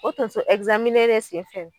O tonso de sen fɛ